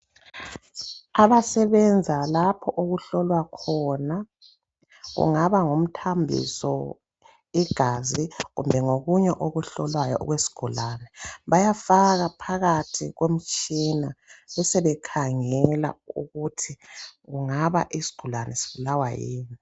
Abasebenza lapho okuhlola khona kungaba ngumthambiso, igazi kumbe ngokunye okuhlolwayo okwesigulane. Bayafaka phakathi komtshina besebekhangela ukuthi kungaba isigulane sibulawa yini.